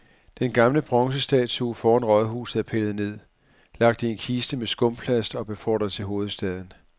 Den gamle bronzestatue foran rådhuset er pillet ned, lagt i en kiste med skumplast og befordret til hovedstaden.